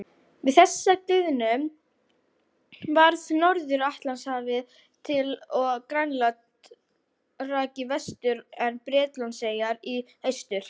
Við þessa gliðnun varð Norður-Atlantshafið til og Grænland rak í vestur en Bretlandseyjar í austur.